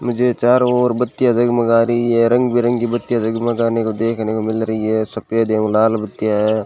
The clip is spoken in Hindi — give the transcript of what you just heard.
मुझे चारों ओर बत्तियां जगमगा रही है रंग बिरंगी बत्तियां जगमगाने को देखने को मिल रही है सफेद एवं लाल बत्तीया है।